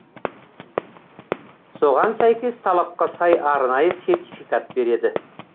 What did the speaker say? соған сәйкес талапқа сай арнайы сертификат береді